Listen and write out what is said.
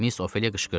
Miss Ofeliya qışqırdı.